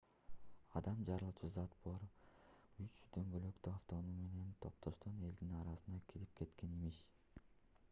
адам жарылуучу зат бар үч дөңгөлөктүү автоунаа менен топтошкон элдин арасына кирип кеткен имиш